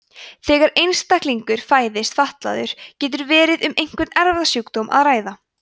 þegar einstaklingur fæðist fatlaður getur verið um einhvern erfðasjúkdóm að ræða